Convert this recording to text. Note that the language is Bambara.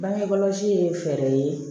Bangekɔlɔsi ye fɛɛrɛ ye